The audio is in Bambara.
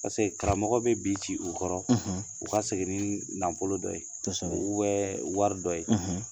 Pasele karamɔgɔ bɛ bi ci u kɔrɔ u ka segin ni nafolo dɔ ye bɛ wari dɔ ye